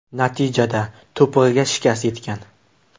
Natijada to‘pig‘iga shikast yetgan.